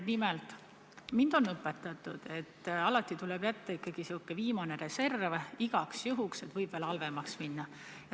Nimelt, mind on õpetatud, et alati tuleb jätta ikkagi selline viimane reserv, igaks juhuks, sest võib veel halvemaks minna.